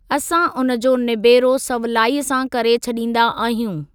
असां उन जो निबेरो सवलाईअ सां करे छडीं॒दा आहियूं।